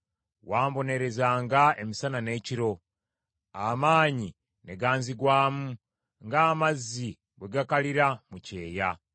Wambonerezanga emisana n’ekiro, amaanyi ne ganzigwamu ng’amazzi bwe gakalira mu kyeya.